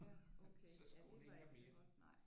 Ja okay ja det var ikke så godt nej